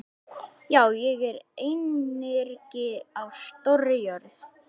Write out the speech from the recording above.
Já, ég er einyrki á stórri jörð.